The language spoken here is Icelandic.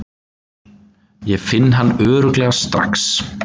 Ég finn hann örugglega strax.